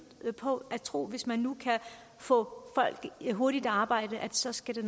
på tror hvis man nu kan få folk hurtigt i arbejde så skal det